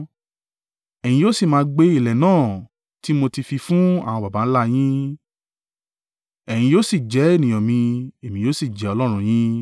Ẹ̀yin yóò sì máa gbé ilẹ̀ náà tí mo ti fi fún àwọn baba ńlá yín; ẹ̀yin yóò sì jẹ́ ènìyàn mi èmi yóò sì jẹ́ Ọlọ́run yín.